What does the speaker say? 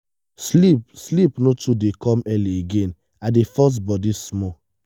sleep sleep no too dey come early again i dey force body small.